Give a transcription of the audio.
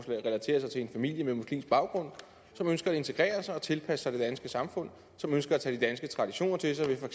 relatere sig til en familie med muslimsk baggrund som ønsker at integrere sig og tilpasse sig det danske samfund og som ønsker at tage de danske traditioner til sig ved for